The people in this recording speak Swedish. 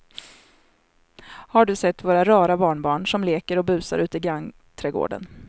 Har du sett våra rara barnbarn som leker och busar ute i grannträdgården!